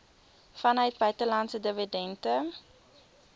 vanuit buitelandse dividende